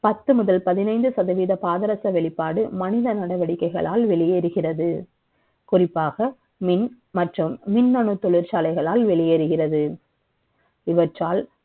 பத்து முதல் பதினைந்து சதவீத பாதரச வெளிப்பாடு மனித நடவடிக்கைகளால் வெளியேறுகிறது குறிப்பாக மின் மற்றும் மின்னணு தொழிற்சாலைகளால் வெளியேறுகிறது